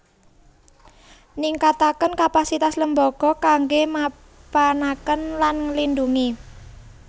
Ningkataken kapasitas lembaga kanggé mapanaken lan nglindhungi